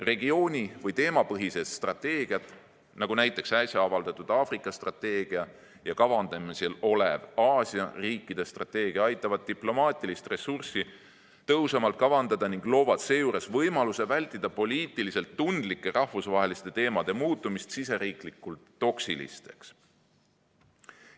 Regiooni‑ või teemapõhised strateegiad, nagu äsja avaldatud Aafrika strateegia ja kavandamisel olev Aasia riikide strateegia, aitavad diplomaatilist ressurssi tõhusamalt kavandada ning loovad seejuures võimaluse vältida poliitiliselt tundlike rahvusvaheliste teemade muutumist siseriiklikult toksiliseks.